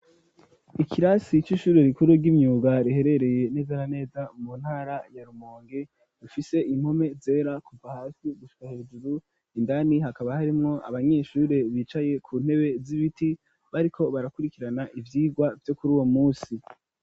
Ikirasi c'ishuri rikuru ry'imyuga riherereye neza na neza mu ntara ya Rumonge rifise impome zera kuva hasi gusha hejuru indani hakaba harimwo abanyeshuri bicaye ku ntebe z'ibiti bariko barakurikirana ivyirwa vyo kuruwo musi.